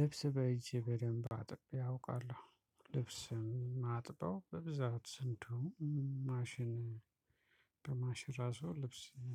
ልብስ በእጄ በደንብ አጥቤ አውቃለው ልብስ የማጥበው በብዛት ስንት ማሽን በማሽን ራሱ ልብስ እ